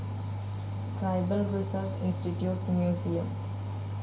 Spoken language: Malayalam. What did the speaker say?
tribal research institute museum